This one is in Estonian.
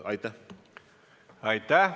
Aitäh!